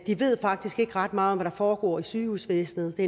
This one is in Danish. de ved faktisk ikke ret meget om hvad der foregår i sygehusvæsenet det